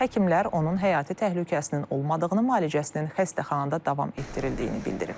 Həkimlər onun həyati təhlükəsinin olmadığını, müalicəsinin xəstəxanada davam etdirildiyini bildiriblər.